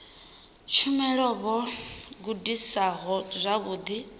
tshumelo vho gudaho zwavhudi uri